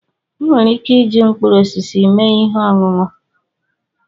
Ị nwere ike iji mkpụrụ osisi mee ihe ọṅụṅụ.